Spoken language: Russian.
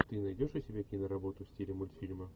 ты найдешь у себя киноработу в стиле мультфильма